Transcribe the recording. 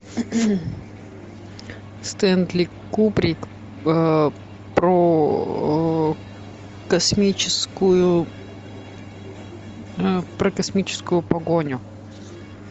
стэнли кубрик про космическую про космическую погоню